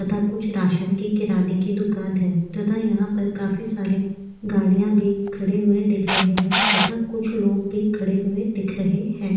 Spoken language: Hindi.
तथा कुछ राशन के किराने की दुकान है तथा यहाँ पर काफी सारी गाड़ियाँ भी खड़े हुए दिख रहे है तथा कुछ लोग भी खड़े हुए दिख रहे है।